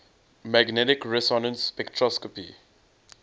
magnetic resonance spectroscopy